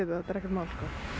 það er ekkert mál